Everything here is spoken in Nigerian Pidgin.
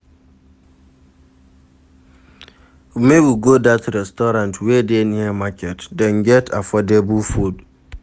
Make we go dat restaurant wey dey near market, dem get affordable food.